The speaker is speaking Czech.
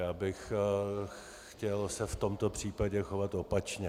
Já bych se chtěl v tomto případě chovat opačně.